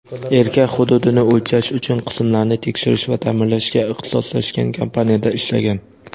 erkak hududni o‘lchash uchun qismlarni tekshirish va ta’mirlashga ixtisoslashgan kompaniyada ishlagan.